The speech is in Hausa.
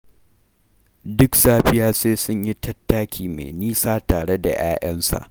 Duk safiya sai sun yi tattaki mai nisa tare da 'ya'yansa